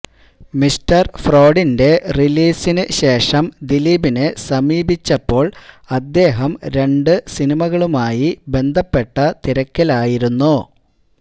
mister ഫ്രോഡിന്റെ റിലീസിന് ശേഷം ദിലീപിനെ സമീപിച്ചപ്പോള് അദ്ദേഹം രണ്ട് സിനിമകളുമായി ബന്ധപ്പെട്ട തിരക്കിലായിരുന്നു